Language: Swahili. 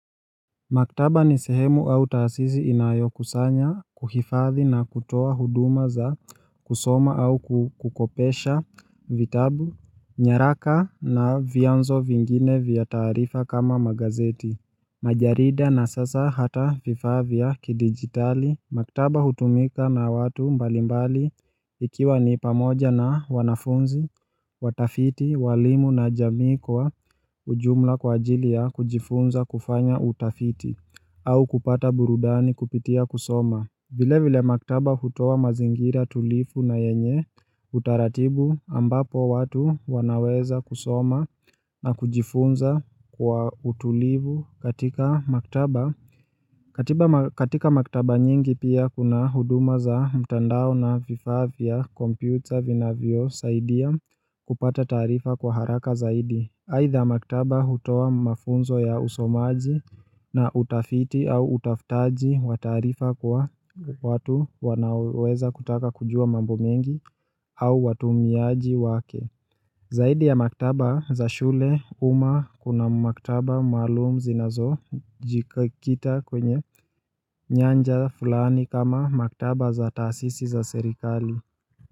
Maktaba ni sehemu au taasisi inayo kusanya kuhifadhi na kutoa huduma za kusoma au kukopesha vitabu nyaraka na vianzo vingine vya tarifa kama magazeti Majarida na sasa hata vifaa vya kidigitali, maktaba hutumika na watu mbalimbali ikiwa nipamoja na wanafunzi, watafiti, walimu na jamikoa ujumla kwa ajilia kujifunza kufanya utafiti au kupata burudani kupitia kusoma. Vile vile maktaba hutoa mazingira tulifu na yenye utaratibu ambapo watu wanaweza kusoma na kujifunza kwa utulivu katika maktaba. Katika maktaba nyingi pia kuna huduma za mtandao na vifavya computer vina vio saidia kupata tarifa kwa haraka zaidi Haidha maktaba hutoa mafunzo ya usomaji na utafiti au utafitaji watarifa kwa watu wanaweza kutaka kujua mambo mengi au watumiaji wake Zaidi ya maktaba za shule uma kuna maktaba maalumu zinazo jikikita kwenye nyanja fulani kama maktaba za taasisi za serikali.